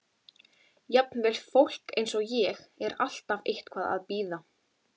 Jafnvel fólk eins og ég er alltaf eitthvað að bíða.